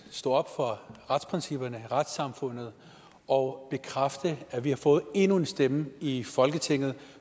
stå op for retsprincipperne i retssamfundet og bekræfte at vi har fået endnu en stemme i folketinget